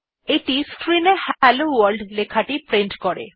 এইটি screen এ hello world লেখাটি print করে